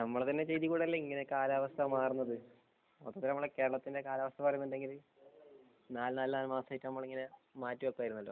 നമ്മളെന്നെ ചെയ്തി കൊണ്ടല്ലേ ഇങ്ങനെ കാലാവസ്ഥ മാറുന്നത് പണ്ട് കേരളത്തിന്റെ കാലാവസ്ഥ എന്ന് പറയുന്നത് നാല് നാലു മാസായിട്ടു നമ്മൾ ഇങ്ങനെ മാറ്റിവെക്കുമായിരുന്നല്ലോ